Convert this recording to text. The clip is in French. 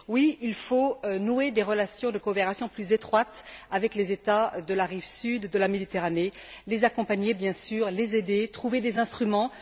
Oui, il faut nouer des relations de coopération plus étroites avec les États de la rive sud de la Méditerranée, les accompagner, bien sûr, les aider, trouver des instruments.